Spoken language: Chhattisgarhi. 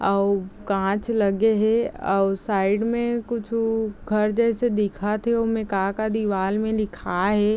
आउ कांच लगे हे आउ साइड में कुछु घर जैसे दिखत हे उमे का -का दिवाल में लिखाये हे ।